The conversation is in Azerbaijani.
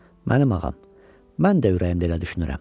"Mənim ağam, mən də ürəyimdə elə düşünürəm.